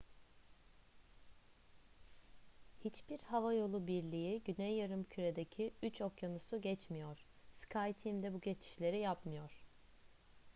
hiçbir havayolu birliği güney yarımküre'deki üç okyanusu geçmiyor skyteam de bu geçişleri yapmıyor